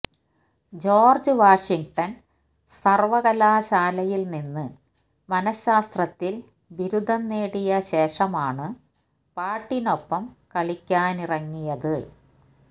George Washington സർവ്വകലാശാലയിൽ നിന്ന് മനഃശാസ്ത്രത്തിൽ ബിരുദം നേടിയ ശേഷമാണ് പാട്ടിനൊപ്പം കളിക്കാനിറങ്ങിയത്